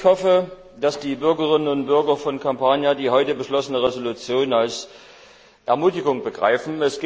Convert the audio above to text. Ich hoffe, dass die Bürgerinnen und Bürger von Kampanien die heute beschlossene Entschließung als Ermutigung begreifen.